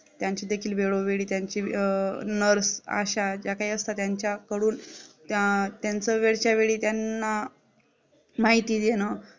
त्यांचे देखील वेळोवेळी त्यांचे अं NURSE आशा ज्या काही असतात त्यांच्याकडून त्यात्यांच्या वेळच्या वेळी त्यांना माहिती देणे